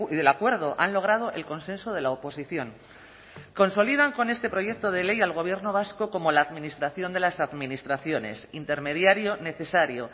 del acuerdo han logrado el consenso de la oposición consolidan con este proyecto de ley al gobierno vasco como la administración de las administraciones intermediario necesario